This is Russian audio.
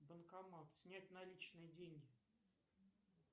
банкомат снять наличные деньги